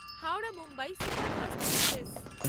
Howrah Mumbai superfast express